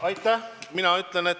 Aitäh!